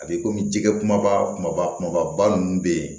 A bɛ komi jɛgɛ kumaba kumaba kumaba ninnu bɛ yen